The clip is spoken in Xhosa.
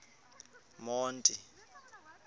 monti